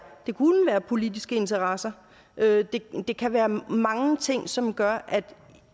politiske interesser det kan være mange ting som gør at